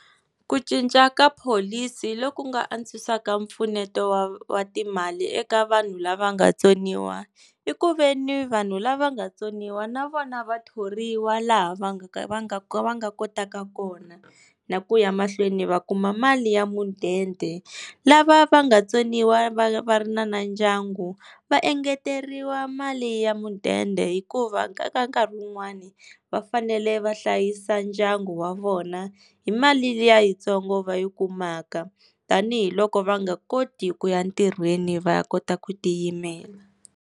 Ku cinca ka pholisi loku nga antswisaka mpfuneto wa wa timali eka vanhu lava nga tsoniwa, i ku veni vanhu lava nga tsoniwa na vona va thoriwa laha va nga ka va nga ka va nga kotaka kona, na ku ya mahlweni va kuma mali ya mudende. Lava va nga vatsoniwa va va ri na na ndyangu va engeteriwa mali ya mudende, hikuva ka ka nkarhi wun'wani va fanele va hlayisa ndyangu wa vona hi mali liya yitsongo va yi kumaka, tanihiloko va nga koti ku ya ntirhweni va ya kota ku tiyimela.